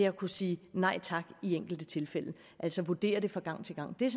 at kunne sige nej tak i enkelte tilfælde altså vurdere det fra gang til gang det